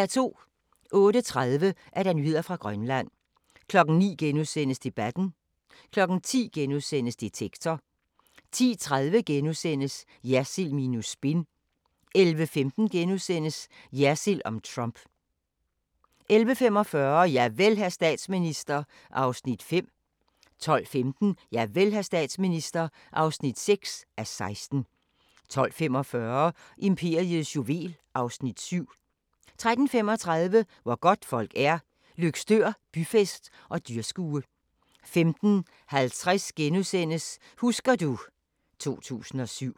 08:30: Nyheder fra Grønland 09:00: Debatten * 10:00: Detektor * 10:30: Jersild minus spin * 11:15: Jersild om Trump * 11:45: Javel, hr. statsminister (5:16) 12:15: Javel, hr. statsminister (6:16) 12:45: Imperiets juvel (Afs. 7) 13:35: Hvor godtfolk er – Løgstør byfest og dyrskue 15:50: Husker du ... 2007 *